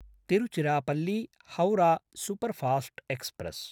Tiruchirappalli Howrah superfast express